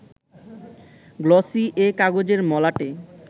glossy এ কাগজের মলাটে